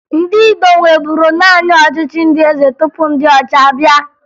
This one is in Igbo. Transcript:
Ndị Igbo nweburu naanị ọchịchị ndị eze tupu ndị ọcha abịa